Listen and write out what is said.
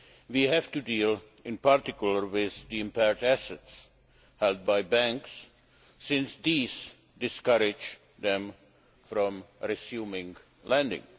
We have to deal, in particular, with the impaired assets' held by banks, since these discourage them from resuming lending.